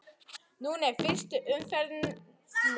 Nú er fyrstu umferð lokið.